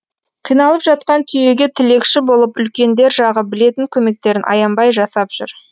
қиналып жатқан түйеге тілекші болып үлкендер жағы білетін көмектерін аянбай жасап жүр